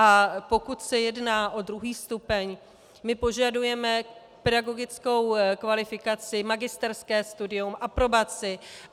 A pokud se jedná o druhý stupeň, my požadujeme pedagogickou kvalifikaci, magisterské studium, aprobaci.